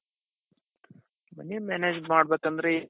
money manage ಮಾಡ್ ಬೇಕಂದ್ರೆ,